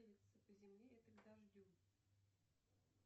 по земле это к дождю